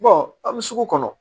an bɛ sugu kɔnɔ